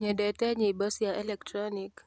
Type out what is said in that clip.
nyendete nyĩmbo cia electronic